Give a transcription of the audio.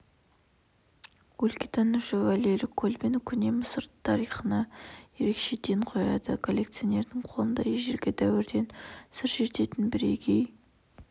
өлкетанушы валерий колбин көне мысыр тарихына ерекше ден қояды коллекционердің қолында ежелгі дәуірден сыр шертетін бірегей